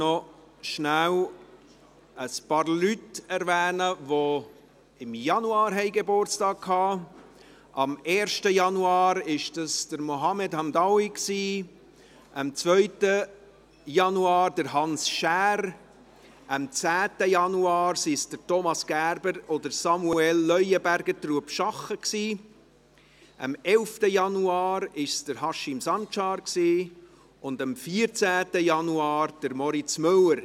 Ich erwähne kurz ein paar Ratsmitglieder, die im Januar Geburtstag hatten: am 1. Januar Mohamed Hamdaoui, am 2. Januar Hans Schär, am 10. Januar Thomas Gerber und Samuel Leuenberger, Trubschachen, am 11. Januar Haşim Sancar und am 14. Januar Moritz Müller.